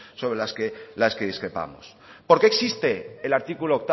sobre las que discrepamos por qué existe el artículo